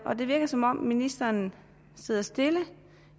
det virker som om ministeren sidder stille